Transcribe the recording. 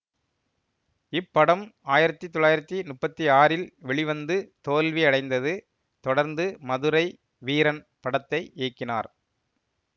இப்படம் ஆயிரத்தி தொள்ளாயிரத்தி முப்பத்தி ஆறில் வெளிவந்து தோல்வி அடைந்தது தொடர்ந்து மதுரை வீரன் படத்தை இயக்கினார்